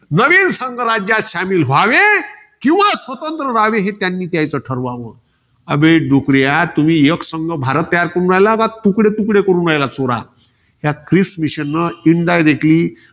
नवीन संघराज्यात शामिल व्हावे. किंवा स्वतंत्र राहावे हे त्यांनी त्याचं ठरवावं. अबे डूक्रा, तुम्ही एकसंघ भारत तयार करू राहिला, का तुकडे तुकडे करून राहिला चोरा? या क्रिस mission directly